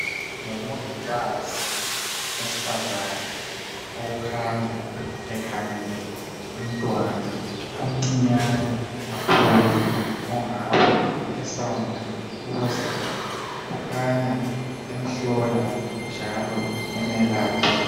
Ngumongikazi wesifazane okukhanya ekhangele umntwana omncinyane kakhulu ongabe esanda ukuzalwa. Kukhanya emhlola njalo emelapha.